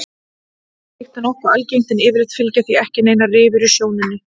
Slíkt er nokkuð algengt en yfirleitt fylgja því ekki neinar rifur í sjónunni.